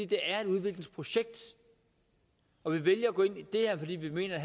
det er et udviklingsprojekt og vi vælger at gå ind i det her fordi vi mener at